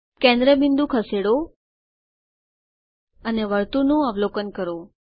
કેન્દ્ર બિંદુ ખસેડો અને વર્તુળનું અવલોકન કરો